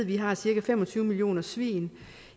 vi har cirka fem og tyve millioner svin